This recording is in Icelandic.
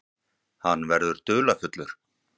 Hann verður dularfullur.